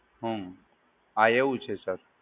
હમ્મ, હા એવું છે સર.